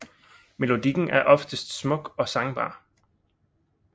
Melodikken er som oftest smuk og sangbar